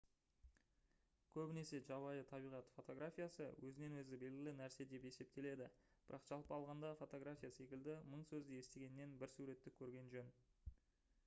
көбінесе жабайы табиғат фотографиясы өзінен-өзі белгілі нәрсе деп есептеледі бірақ жалпы алғандағы фотография секілді мың сөзді естігеннен бір суретті көрген жөн